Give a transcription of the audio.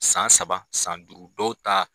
San saba san duuru dɔw ta.